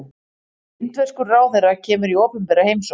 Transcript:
Indverskur ráðherra kemur í opinbera heimsókn